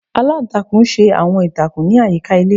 Aláǹtakùn ṣe awọn ìtakùn ni ayika ilé.